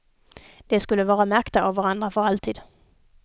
De skulle vara märkta av varandra för alltid.